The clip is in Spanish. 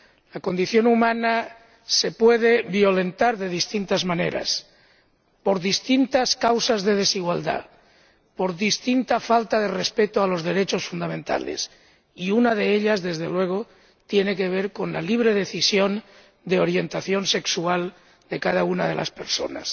La condición humana se puede violentar de distintas maneras, por distintas causas de desigualdad, por distintas faltas de respeto a los derechos fundamentales, y una de ellas, desde luego, tiene que ver con la libre decisión de orientación sexual de cada una de las personas.